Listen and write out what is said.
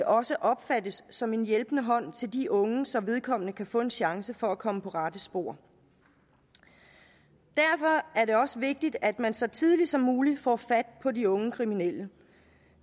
også opfattes som en hjælpende hånd til de unge så vedkommende kan få en chance for at komme på rette spor derfor er det også vigtigt at man så tidligt som muligt får fat på de unge kriminelle